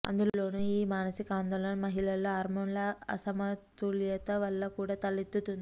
అందులోను ఈ మానసిక ఆందోళన మహిళల్లో హార్మోన్ల అసమతుల్యతవల్ల కూడా తలెత్తుంది